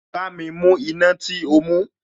Bámi mú iná tí o mú